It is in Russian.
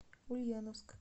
ульяновск